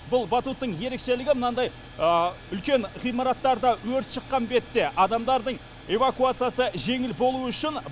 бұл батуттың ерекшелігі мынандай үлкен ғимараттарда өрт шыққан бетте адамдардың эвакуациясы жеңіл болуы үшін